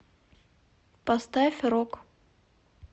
поставь рок